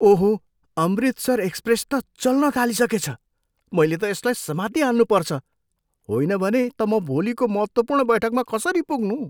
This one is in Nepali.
ओहो! अमृतसर एक्सप्रेस त चल्न थालिसकेछ। मैले त यसलाई समातिहाल्नु पर्छ। होइन भने त म भोलिको महत्त्वपूर्ण बैठकमा कसरी पुग्नु?